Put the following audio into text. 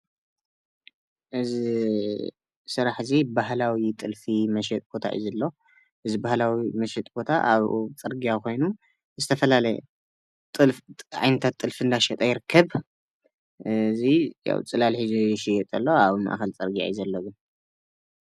እዚ ስራሕ እዚ ባህላዊ ጥልፊ መሸጢ ቦታ እዩ ዘሎ፡፡ እዚ ባህላዊ መሸጢ ቦታ ኣብ ፅርግያ ኮይኑ ዝተፈላለየ ዓይነታት ጥልፊ እናሸጠ ይርከብ፡፡ እዚ ፅላል ሒዙ ይሸጥ ኣሎ፡፡ ኣብ ማእከል ፅርግያ እዩ ዘሎ፡፡